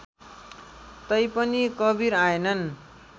तैपनि कवीर आएनन्